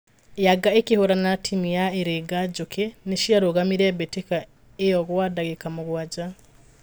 Yanga ĩkĩhurana na timũ ya Ĩringa njũkĩ nĩciarũgamirie mbĩtĩka io gwa dagĩka mũgwaja